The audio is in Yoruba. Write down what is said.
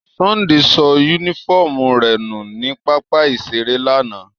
Sunday so unifọmú rẹ nu ni papa-iṣere lana.